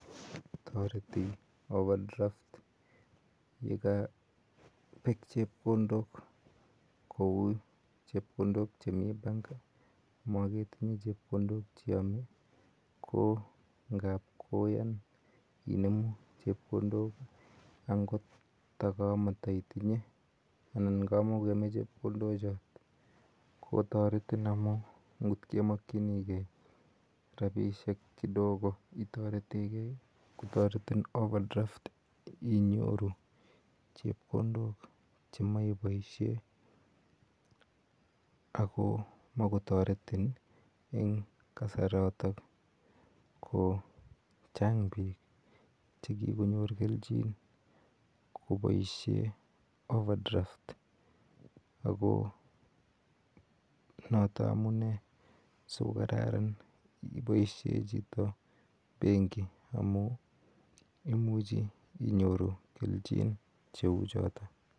Toreti overdraft yekobek chepkondok kou chepkondok chemi bank moketinye chepkondo cheome ko ingao koyan inemu chepkondok ko angot kamitoitinye anan kamokoyome chepkondok chon kotoretin amun ngot komokchigee rabisiek kidogo itoretekee, kotoretin overdraft inyoru chepkondok chemoe iboisien akomokotoretun en kasaraton ako chang bik chekikonyor keljin koboishee overdraft ako noto amune sikokararan iboisien chito benki amun imuchi inyoru keljin cheuchotok.